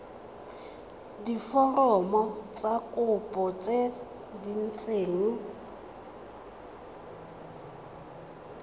diforomo tsa kopo tse dint